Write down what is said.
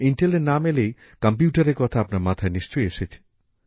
ইন্টেলের নাম এলেই কম্পিউটারের কথা আপনার মাথায় নিশ্চয় এসেছে